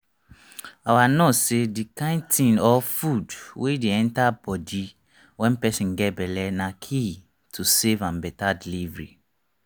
our nurse say the kind thing or food wey dey enter body wen person get belle na key to safe and better delivery